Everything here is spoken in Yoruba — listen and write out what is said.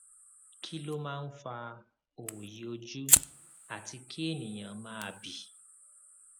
kí ló máa ń fa òòyì ojú àti kí ènìyàn máa bì